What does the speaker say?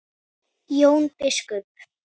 Jón biskup